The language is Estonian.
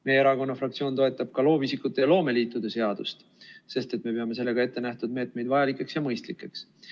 Meie erakonna fraktsioon toetab ka loovisikute ja loomeliitude seadust, sest me peame sellega ettenähtud meetmeid vajalikeks ja mõistlikeks.